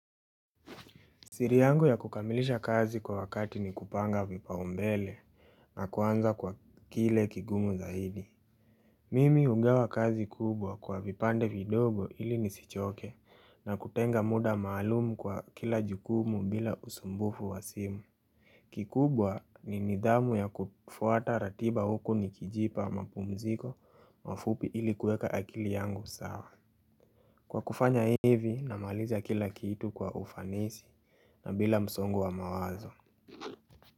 Siri yangu ya kukamilisha kazi kwa wakati ni kupanga vipaumbele na kuanza kwa kile kigumu zaidi. Mimi ugawa kazi kubwa kwa vipande vidogo ili nisichoke na kutenga muda maalumu kwa kila jukumu bila usumbufu wa simu. Kikubwa ni nidhamu ya kufuata ratiba huku nikijipa mapumziko mafupi ili kueka akili yangu sawa. Kwa kufanya hivi namaliza kila kitu kwa ufanisi na bila msongo wa mawazo.